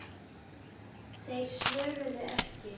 Þeir svöruðu ekki.